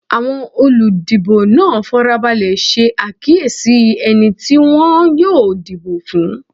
Awọn oludibo naa farabalẹ ṣe akiyesi ẹni ti wọn yoo dibo fun